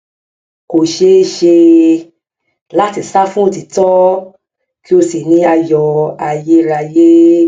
kò ṣeé ṣe láti sá fún òtítọ kí o sì ní ayọ ayérayé